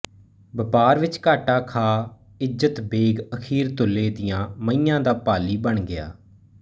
ਵਪਾਰ ਵਿੱਚ ਘਾਟਾ ਖਾ ਇੱਜ਼ਤ ਬੇਗ ਅਖੀਰ ਤੁੱਲੇ ਦੀਆਂ ਮਹੀਆਂ ਦਾ ਪਾਲੀ ਬਣ ਗਿਆ